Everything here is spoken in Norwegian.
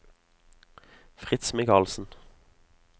Fritz Michaelsen